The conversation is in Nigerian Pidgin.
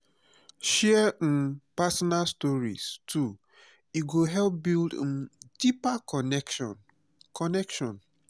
share um personal stories too e go help build um deeper connection. connection.